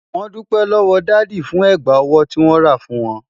Wọ́n dúpẹ́ lọ́wọ́ dádì fún ẹ̀gbà ọwọ́ tí wọ́n rà fún wọn.